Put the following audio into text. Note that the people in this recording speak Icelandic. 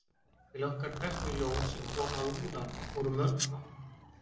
til okkar berst því ljós sem kom að úðanum úr mörgum áttum